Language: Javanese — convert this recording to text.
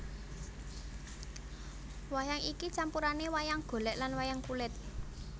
Wayang iki campurane wayang golek lan wayang kulit